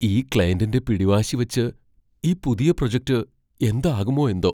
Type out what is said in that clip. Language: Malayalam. ഈ ക്ലയന്റിന്റെ പിടിവാശി വച്ച് ഈ പുതിയ പ്രൊജക്റ്റ് എന്താകുമോ എന്തോ!